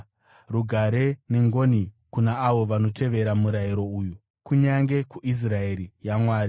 Rugare nengoni kuna avo vanotevera murayiro uyu, kunyange kuIsraeri yaMwari.